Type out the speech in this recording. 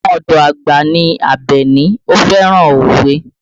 Ọmọ ọdọ àgbà ní Abeni, ó fẹ́ràn òwe